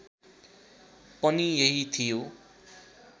पनि यही थियो